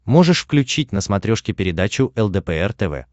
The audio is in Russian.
можешь включить на смотрешке передачу лдпр тв